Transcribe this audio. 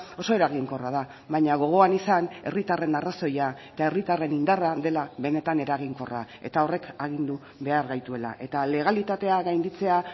oso eraginkorra da baina gogoan izan herritarren arrazoia eta herritarren indarra dela benetan eraginkorra eta horrek agindu behar gaituela eta legalitatea gainditzea